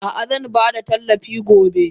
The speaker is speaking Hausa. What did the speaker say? Ah ah zanbada tallafin gobe.